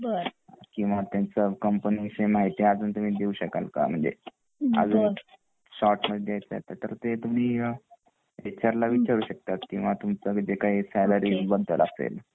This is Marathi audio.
किंवा कंपनी विषयी माहिती तुम्ही देऊ शकाल का म्हणजे शॉर्ट मध्ये तर ते तुम्ही एच आर ा विचारू शकतात किंवा जे काही सॅलरी बद्दल असेल